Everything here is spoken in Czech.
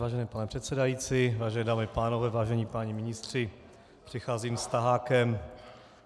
Vážený pane předsedající, vážené dámy a pánové, vážení páni ministři, přicházím s tahákem.